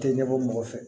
Tɛ ɲɛbɔ mɔgɔ fɛ